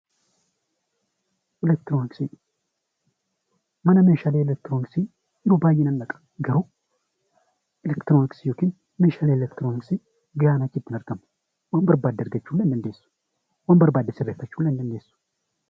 Eleektirooniksii Mana eleektirooniksii garuu eleektirooniksii fi mana eleektirooniksii waan barbaadde argachuu hin dandeessu, waan barbaadde illee sirreeffachuu hin dandeessu.